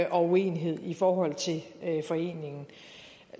og uenighed i forhold til foreningen